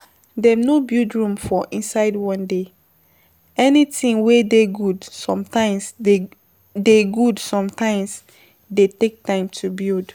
Dem no build Rome for inside one day, anything wey dey good sometimes dey, dey good sometimes dey take time to build